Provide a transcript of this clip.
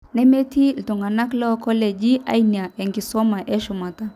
nemetii iltung'anak loonkoleji aaina enkisuma eshumata